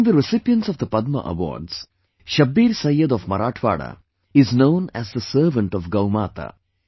Among the recipients of the Padma award, ShabbirSayyed of Marathwada is known as the servant of GauMata